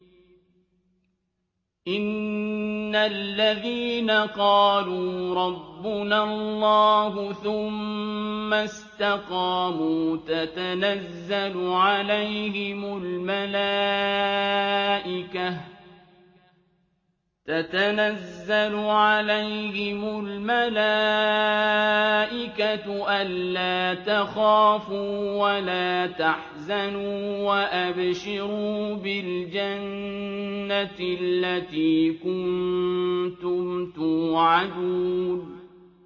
إِنَّ الَّذِينَ قَالُوا رَبُّنَا اللَّهُ ثُمَّ اسْتَقَامُوا تَتَنَزَّلُ عَلَيْهِمُ الْمَلَائِكَةُ أَلَّا تَخَافُوا وَلَا تَحْزَنُوا وَأَبْشِرُوا بِالْجَنَّةِ الَّتِي كُنتُمْ تُوعَدُونَ